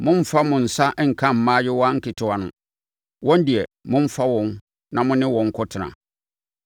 Mommfa mo nsa nka mmaayewa nketewa no. Wɔn deɛ, momfa wɔn na mo ne wɔn nkɔtena.